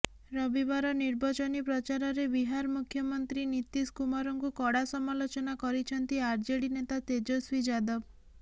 ରବିବାର ନିର୍ବଚନୀ ପ୍ରଚାରରେ ବିହାର ମୁଖ୍ୟମନ୍ତ୍ରୀ ନୀତୀଶ କୁମାରଙ୍କୁ କଡ଼ା ସମାଲୋଚନା କରିଛନ୍ତି ଆର୍ଜେଡି ନେତା ତେଜସ୍ୱୀ ଯାଦବ